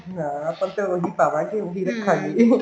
ਹਾਂ ਆਪਾਂ ਉਹੀ ਪਾਵਾਂਗੇ ਉਹੀ ਰੱਖਾਂਗੇ